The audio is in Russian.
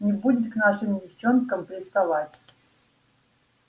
не будет к нашим девчонкам приставать